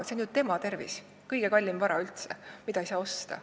See on ju tema tervis – kõige kallim vara, mida ei saa osta.